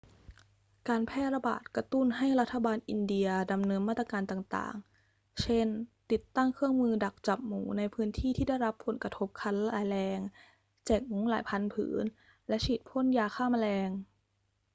การแพร่ระบาดกระตุ้นให้รัฐบาลอินเดียดำเนินมาตรการต่าง ๆ เช่น ติดตั้งเครื่องมือดักจับหมูในพื้นที่ที่ได้รับผลกระทบขั้นร้ายแรง แจกมุ้งหลายพันผืน และฉีดพ่นยาฆ่าแมลง